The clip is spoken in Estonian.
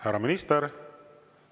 Härra minister!